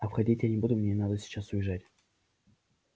а входить я не буду мне надо сейчас уезжать